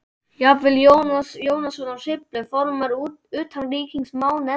Jafnvel Jónas Jónsson frá Hriflu, formaður utanríkismálanefndar